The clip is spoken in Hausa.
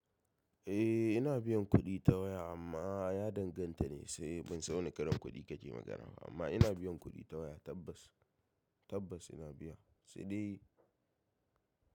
Eh ina biyan kuɗi ta waya amma ya danganta ne sai ban san wane karin kuɗi kake magana ba amma ina biyan kuɗi ta waya tabbas, tabbas ina biya sai dai.